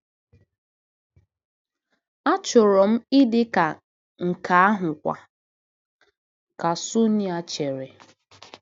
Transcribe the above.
Achọrọ m ịdị ka nke ahụ kwa,' ka Sonịa chere.